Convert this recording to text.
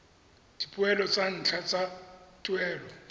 dipoelo tsa ntlha tsa tuelo